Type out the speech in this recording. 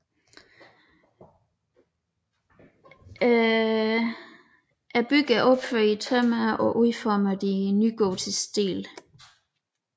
Bygget er opført i tømmer og udformet i nygotisk stil